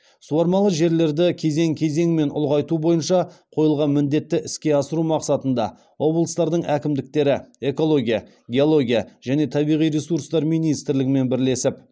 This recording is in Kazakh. суармалы жерлерді кезең кезеңмен ұлғайту бойынша қойылған міндетті іске асыру мақсатында облыстардың әкімдіктері экология геология және табиғи ресурстар министрлігімен бірлесіп